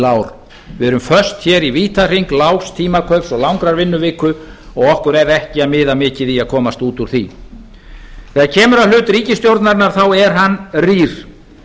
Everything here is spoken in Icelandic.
við erum föst hér í vítahring lágs tímakaups og langrar vinnuviku og okkur er ekki að miða mikið í því að komast út úr því þegar kemur að hlut ríkisstjórnarinnar þá er hann rýr